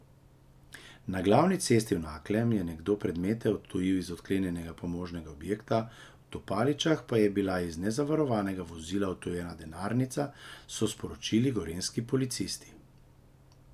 Na Glavni cesti v Naklem je nekdo predmete odtujil iz odklenjenega pomožnega objekta, v Tupaličah pa je bila iz nezavarovanega vozila odtujena denarnica, so sporočili gorenjski policisti.